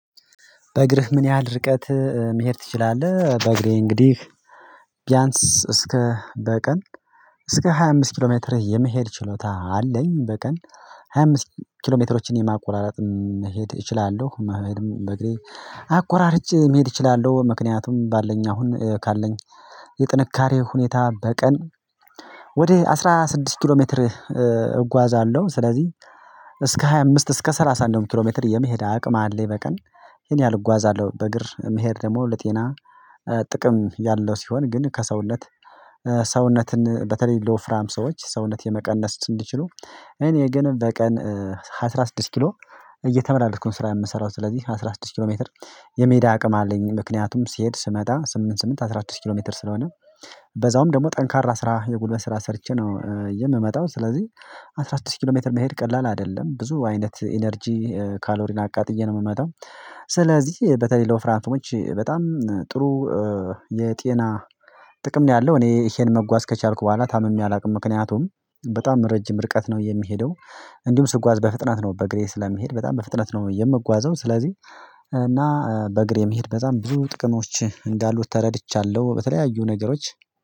በእግርህ ምን ያህል ርቀት መሄድ ትችላለህ? በእግሬ እንግዲህ ቢያንስ እስከ በቀን እስከ ሃያ አምስት ኪሎ ሜትር የመሄድ ችሎታ አለኝ። በቀን ሃያ አምስት ኪሎ ሜትሮችን የማቆራራጥ መሄድ እችላለሁ መሄድም በእግሬ አቆራርጭ መሄድ እችላለሁ። ምክንያቱም ባለን አሁን ካለን የጥንካሬ ሁኔታ በቀን ወደ አስራ ስድስት ኪሎ ሜትር እጓዛለሁ። ስለዚህ እስከ ሃያ አምስት እስከ ሰላሳ አንድ ኪሎ ሜትር የመሄድ አቅም አለ። የበቀን ይሄን ያህል እጓዛለሁ በእግር መሄድ ደግሞ ለጤና ጥቅም ያለው ሲሆን ግን ከሰውነት ሰውነትን በተለይ ሎፍራም ሰዎች ሰውነት የመቀነስ እንዲችሉ እኔ ግን በቀን አስራ ስድስት ኪሎ እየተመላለስኩኝ ስራ የምሰራው ስለዚህ አስራ ስድስት ኪሎ ሜትር የመዳ አቅም አለኝ። ምክንያቱም ሲሄድ ስመጣ ስምንት ስምንት አስራ አራት ኪሎ ሜትር ስለሆነ በዛውም ደግሞ ጠንካራ ስራ የጉልበት ስራ ሰርቼ ነው የምመጣው። ስለዚህ አስራ ስድስት ኪሎ ሜትር መሄድ ቀላል አይደለም ብዙ አይነት ኢነርጂ ካሎሪን አቃጥዬ ነው የምመጣው። ስለዚህ በተለይ ሎፍራንቲሞች በጣም ጥሩ የጤና ጥቅም ነው። ያለው እኔ ይሄን መጓዝ ከቻልኩ በኋላ ታምሜ አላውቅም ምክንያቱም በጣም ረጅም ርቀት ነው የሚሄደው። እንዲሁም ስጓዝ በፍጥነት ነው በእግሬ ስለሚሄድ በጣም በፍጥነት ነው የምጓዘው። ስለዚህ እና በእግሬ የምሄድ በጣም ብዙ ጥቅሞች እንዳሉት ተረድቻለሁ። በተለያዩ ነገሮች